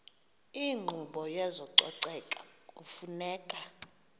inkqubo yezococeko kufuneka